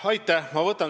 Aitäh!